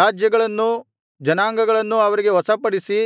ರಾಜ್ಯಗಳನ್ನೂ ಜನಾಂಗಗಳನ್ನು ಅವರಿಗೆ ವಶಪಡಿಸಿ